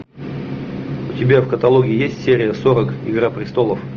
у тебя в каталоге есть серия сорок игра престолов